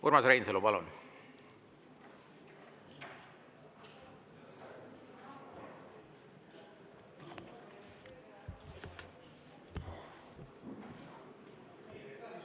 Urmas Reinsalu, palun!